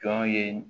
Jɔn ye